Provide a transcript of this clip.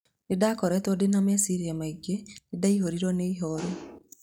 Nĩndakoretwo ndina mecirĩa maingĩ, nĩndaihũrirwo ni ihoru